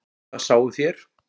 Það sáuð þér.